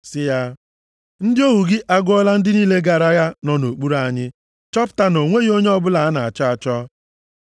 sị ya, “Ndị ohu gị agụọla ndị niile gara agha nọ nʼokpuru anyị, chọpụta na o nweghị onye ọbụla a na-achọ achọ.